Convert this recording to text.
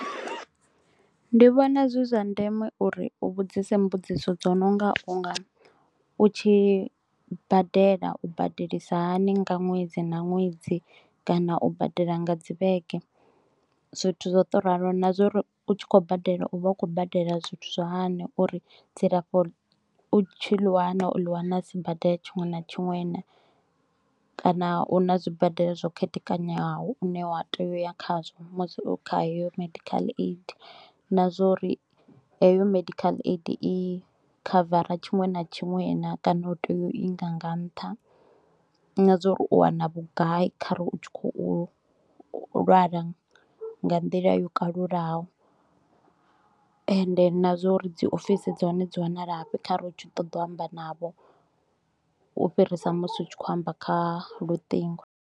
Ndi vhona zwi zwa ndeme uri u vhudzise mbudziso dzo no nga u nga u tshi badela, u badelisa hani nga ṅwedzi nga ṅwedzi kana u badela nga dzi vhege. Zwithu zwa u to ralo na zwauri u tshi khou badela, u vha u khou badela zwithu zwa hani, uri dzilafho u tshi ḽi wana u ḽi wana sibadela tshiṅwe na tshiṅwe naa? Kana u na dzi badela zwo khethekanywaho hune wa tea u ya khazwo musi u kha eyo medical aid. Na zwauri eyo medical aid i khavara tshiṅwe na tshiṅwe naa? Kana u tea u inga nga ntha na zwa uri u wana vhugai khare u tshi khou lwala nga nḓila yo kalulaho, ende na zwa uri dzi ofisini dzahone dzi wanalafhi khare u tshi ṱoḓa u amba navho, u fhirisa musi u tshi kho u amba kha lutingo.